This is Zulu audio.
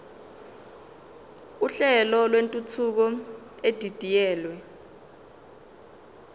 uhlelo lwentuthuko edidiyelwe